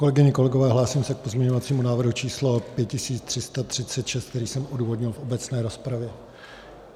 Kolegyně, kolegové, hlásím se k pozměňovacímu návrhu číslo 5336, který jsem odůvodnil v obecné rozpravě.